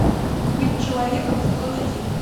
быть человеком сезон один